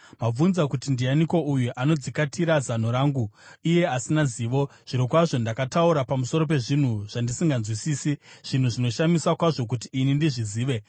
Mabvunza kuti, ‘Ndianiko uyu anodzikatira zano rangu iye asina zivo?’ Zvirokwazvo ndakataura pamusoro pezvinhu zvandisinganzwisisi, zvinhu zvinoshamisa kwazvo kuti ini ndizvizive.